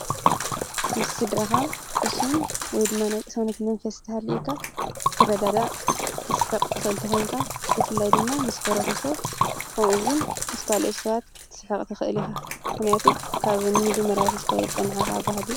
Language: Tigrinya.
ምስ ስድራኻ ቁሱን ወይድማናያ ቕሳውነት መንፈስትሃሊኢካ ኽትረዳዳ ኽትስሕቕቲ ኽእልተ ዄንካ ብፍላይ ድማ ምስ ኅብረተ ሰብ ከምኡውን ምስ ካልኦት ሰባት ክትስሕቕቲ ኽእል ኢኻ ሕንያቱ ካብ ኖሚጅ መራፊስካት ጸንሓኻ ባህል ።